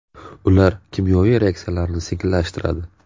Ular kimyoviy reaksiyalarni sekinlashtiradi.